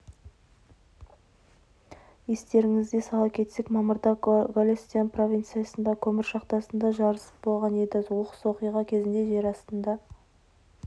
естеріңізге сала кетсек мамырда голестан провинциясындағы көмір шахтасында жарылыс болған еді оқыс оқиға кезінде жер астында